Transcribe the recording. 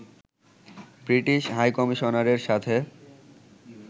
British হাইকমিশনারের সাথে